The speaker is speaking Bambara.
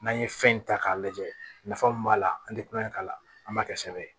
N'an ye fɛn in ta k'a lajɛ nafa mun b'a la an tɛ kulonkɛ k'a la an b'a kɛ sɛbɛn ye